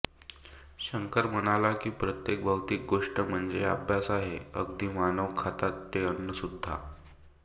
शंकर म्हणाला की प्रत्येक भौतिक गोष्ट म्हणजे एक आभास आहे अगदी मानव खातात ते अन्नसुद्धा